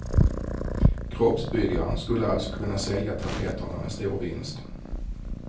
Kroppsbyggaren skulle alltså kunna sälja tabletterna med stor vinst.